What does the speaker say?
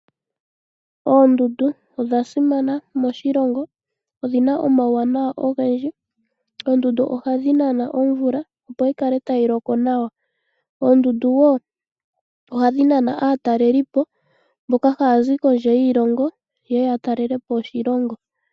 Oondundu odhasimana moshilongo shetu, oshoka odhina omauwanawa ogendji, oondunda ohadhi nana omvula opo yikale tayi loko nawa, oondundu ohadhi nana woo aataleli mboka haazi kondje yiilongo, ha yeya okutalelapo oshilongo shetu.